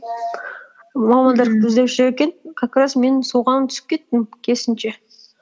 мамандар іздеп жүр екен как раз мен соған түсіп кеттім керісінше